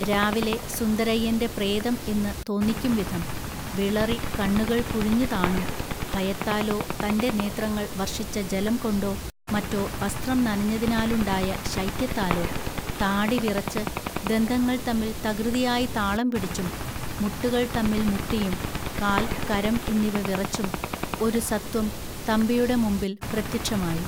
രാവിലെ സുന്ദരയ്യന്റെ പ്രേതം എന്ന് തോന്നിക്കുംവിധം, വിളറി കണ്ണുകൾ കുഴിഞ്ഞുതാണും, ഭയത്താലോ തൻ്റെ നേത്രങ്ങൾ വർഷിച്ച ജലംകൊണ്ടോ മറ്റോ വസ്ത്രം നനഞ്ഞതിനാലുണ്ടായ ശൈത്യത്താലോ, താടിവിറച്ച്, ദന്തങ്ങൾ തമ്മിൽ തകൃതിയായി താളംപിടിച്ചും, മുട്ടുകൾ തമ്മിൽ മുട്ടിയും, കാൽ, കരം എന്നിവ വിറച്ചും, ഒരു സത്വം തമ്പിയുടെ മുമ്പിൽ പ്രത്യക്ഷമായി